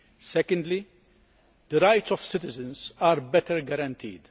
Secondly, the rights of citizens are better guaranteed.